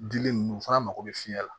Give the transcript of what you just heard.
Dili ninnu fana mago bɛ fiɲɛ la